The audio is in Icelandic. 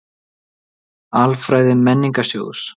Alfræði Menningarsjóðs.